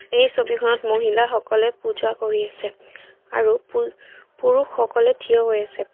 এই ছবিখনত মহিলা সকলে পূজা কৰি আছে আৰু পুৰুষ সকলে থিয় হৈ আছে।